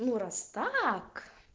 ну раз так